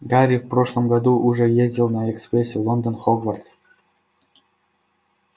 гарри в прошлом году уже ездил на экспрессе лондон хогвартс